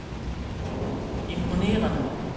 imponerende